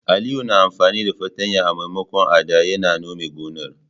Aliyu yana amfani fartanya a maimakon adda ya nome gonar.